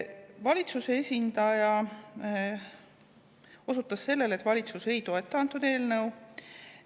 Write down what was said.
Valitsuse esindaja osutas sellele, et valitsus ei toeta antud eelnõu.